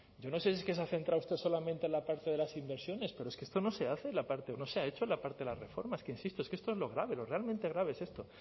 yo no sé si es que se ha centrado usted solamente en la parte de las inversiones pero es que esto no se hace la parte no se ha hecho la parte de las reformas que insisto es que esto es lo grave lo realmente grave es esto